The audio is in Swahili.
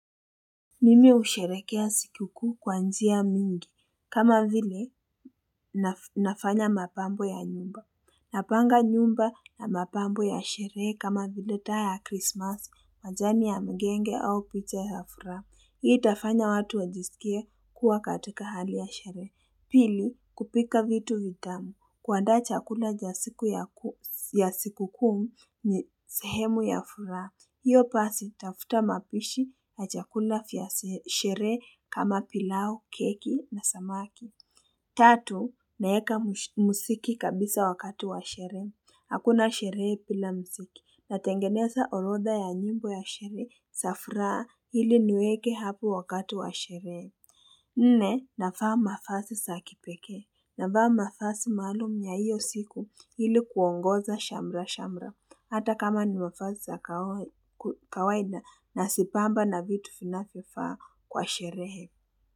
Mimi husherekea sikuku kwa njia mingi, kama vile nafanya mapambo ya nyumba, napanga nyumba na mapambo ya sherehe kama vile taa ya krismas, majani ya mgenge au picha ya furaha, hii itafanya watu wajisikia kuwa katika hali ya sherehe. Pili, kupika vitu vitamu, kuanda chakula ja sikuu ya siku kumu ni sehemu ya furaha. Hiyo pasi, tafuta mapishi na chakuna vya sherehe kama pilau, keki na samaki. Tatu, naweka muziki kabisa wakati wa sherehe. Hakuna sherehe pila muziki, natengeneza orodha ya nyimbo ya sherehe zafura hili nweke hapo wakati wa sherehe. Nne nafaa mafasi saakipekee nafaa mafasi maalum ya hiyo siku hili kuongoza shamra shamra hata kama ni mafasi kawaida na sipamba na vitu vinavyofaa kwa sherehe.